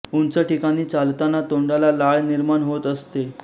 उंच ठिकाणी चालताना तोंडात लाळ निर्माण होत असते